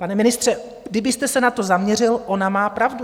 Pane ministře, kdybyste se na to zaměřil, ona má pravdu.